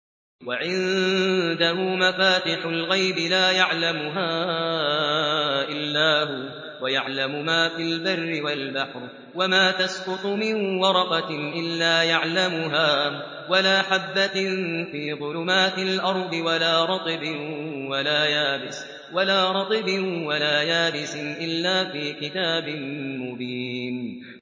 ۞ وَعِندَهُ مَفَاتِحُ الْغَيْبِ لَا يَعْلَمُهَا إِلَّا هُوَ ۚ وَيَعْلَمُ مَا فِي الْبَرِّ وَالْبَحْرِ ۚ وَمَا تَسْقُطُ مِن وَرَقَةٍ إِلَّا يَعْلَمُهَا وَلَا حَبَّةٍ فِي ظُلُمَاتِ الْأَرْضِ وَلَا رَطْبٍ وَلَا يَابِسٍ إِلَّا فِي كِتَابٍ مُّبِينٍ